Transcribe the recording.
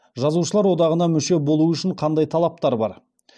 жазушылар одағына мүше болу үшін қандай талаптар бар